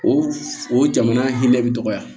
O o jamana hinɛ bɛ dɔgɔya